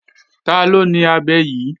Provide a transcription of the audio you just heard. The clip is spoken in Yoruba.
Taló ni abẹ yí?